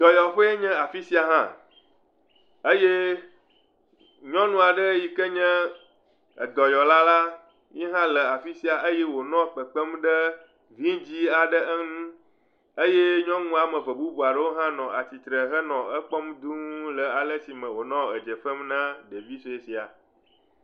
Dɔyɔƒee nye afi sia hã. Eye nyɔnu aɖe yi kee nye edɔyɔla la ye hã le afi sia eye wònɔ kekpem ɖe vidzɛ̃ aɖe ŋu. Eye nyɔnu am eve bubu aɖewo hã nɔ atsi tre henɔ ekpɔm dũu le ale si me wònɔ edze fem na ɖevi sue sia.